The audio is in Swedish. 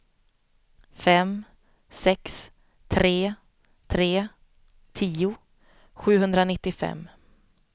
fem sex tre tre tio sjuhundranittiofem